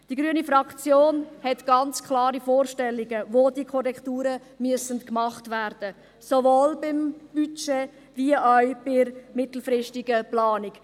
Die grüne Fraktion hat ganz klare Vorstellungen, wo diese Korrekturen gemacht werden müssen: sowohl beim Budget als auch bei der mittelfristigen Planung.